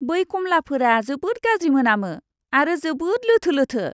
बै खमलाफोरा जोबोद गाज्रि मोनामो आरो जोबोद लोथो लोथो।